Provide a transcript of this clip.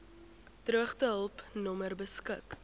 droogtehulp nommer beskik